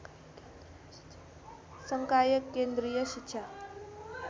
संकाय केन्द्रीय शिक्षा